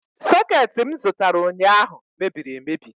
Soketi m zụtara ụnyaahụ mebiri emebi